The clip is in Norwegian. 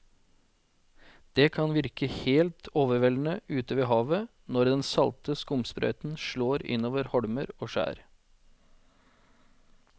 Det kan virke helt overveldende ute ved havet når den salte skumsprøyten slår innover holmer og skjær.